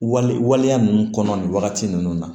Wali waleya ninnu kɔnɔ nin wagati ninnu na